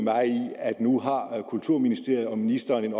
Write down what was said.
nu har kulturministeriet og ministeren en